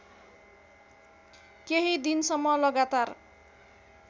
केही दिनसम्म लगातार